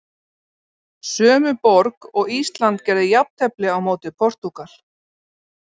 Sömu borg og Ísland gerði jafntefli á móti Portúgal.